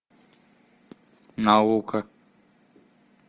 наука